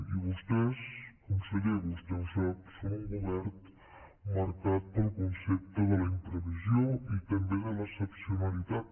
i vostès conseller vostè ho sap són un govern marcat pel concepte de la imprevisió i també de l’excepcionalitat